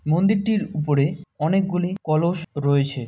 মন্দিরটির উপরে অনেকগুলি কলস রয়েছে।